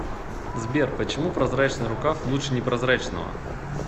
сбер почему прозрачный рукав лучше непрозрачного